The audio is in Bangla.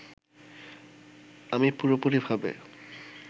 আমি পুরোপুরিভাবে